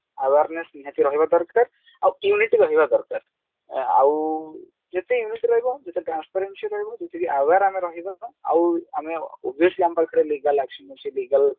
awareness ନିହାତି ରହିବା ଦରକାର ଆଉ unit ରହିବା ଦରକାର ଆଉ ଯେତେ unit ରହିବ ଯେତେ transference ରହିବ ଯେତିକି aware ଆମେ ରହିବା ଆଉ ଆମେ obviously ଆମ ପାଖରେ legal action ଅଛି legal